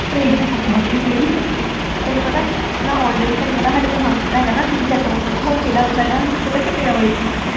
Train ਵਿੱਚ ਗੁਫ਼ਾ ਵਿੱਚ ਗਈ ਤੈਨੂੰ ਪਤਾ ਮੈਂ already ਤੈਨੂੰ ਪਤਾ ਸਾਡੇ ਪਠਾਨਕੋਟ ਹੈਗਾ ਨਾ city center mall ਉੱਥੇ haunted house ਹੈਗਾ, ਮੈਨੂੰ ਪਤਾ ਚਪੇੜਾਂ ਵੱਜਦੀਆਂ